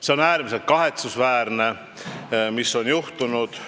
See on äärmiselt kahetsusväärne, mis on juhtunud.